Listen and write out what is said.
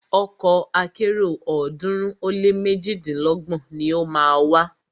Ọkọ̀ akẹ́rò ọ̀ọ́dúnrún ó lé méjidínlọ́gbọ̀n ni o má a wà.